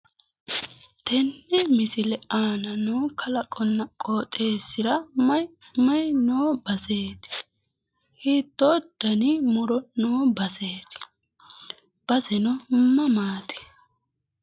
Tenne misile aana noo kalaqamunna qooxeessira mayi mayi noo baseeti? Hiittoo dani muro noo baseeti? Baseno mamaati?